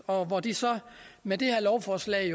og hvor de så med det her lovforslag